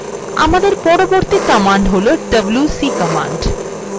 আমদের পরবর্তী command হল wc command